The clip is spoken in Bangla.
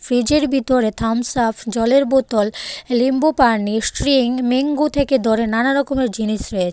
ফ্রিজের ভিতরে থামসআপ জলের বোতল লিম্বু পানি স্ট্রিং মিঙ্গ থেকে ধরে নানা রকমের জিনিস রয়ে--